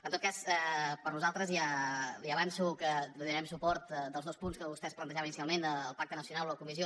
en tot cas per nosaltres ja li avanço que donarem suport als dos punts que vostès plantejaven inicialment el pacte nacional o comissió